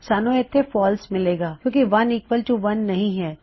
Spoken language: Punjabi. ਸਾਨੂੰ ਇੱਥੇ ਫਾਲਸ ਮਿਲੇਗਾ ਕਿਉਂ ਕਿ 1 ਈਕਵਲ ਟੂ 1 ਸਹੀ ਹੈ